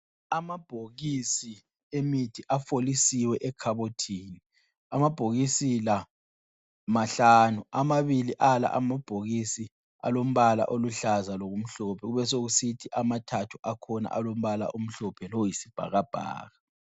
Amabhokisi emithi afolisiwe ekhabothini, amabhokisi la mahlanu, amabili ala amabhokisi alombala oluhlaza lokumhlophe, kube sokusithi amathathu akhona alombala omhlophe loyisibhakabhaka.